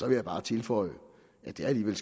jeg bare tilføje at det alligevel